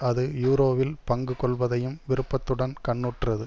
அது யூரோவில் பங்கு கொள்வதையும் விருப்பத்துடன் கண்ணுற்றது